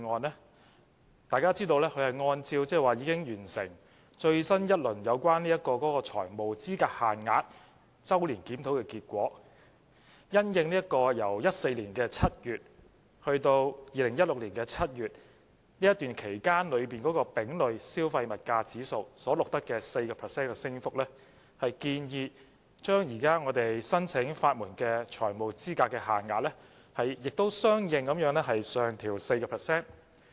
眾所周知，擬議決議案按照已完成的最新一輪有關財務資格限額周年檢討的結果，因應由2014年7月至2016年7月期間的丙類消費物價指數所錄得的 4% 升幅，建議將現時申請法援的財務資格限額相應上調 4%。